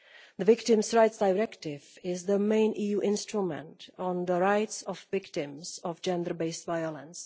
The Victims' Rights Directive is the main EU instrument on the rights of victims of gender based violence.